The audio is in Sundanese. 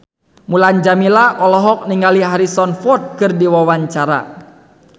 Mulan Jameela olohok ningali Harrison Ford keur diwawancara